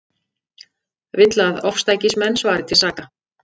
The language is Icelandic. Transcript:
Vill að ofstækismenn svari til saka